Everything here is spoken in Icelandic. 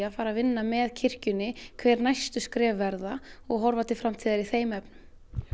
að fara að vinna með kirkjunni hver næstu skref verða og horfa til framtíðar í þeim efnum